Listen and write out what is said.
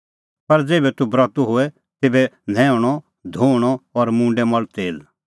पर ज़ेभै तूह ब्रतू होए तेभै न्हैऊंणअधोऊणअ और मुंडै मल़ तेल